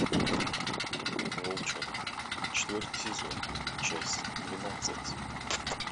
волчонок четвертый сезон часть двенадцать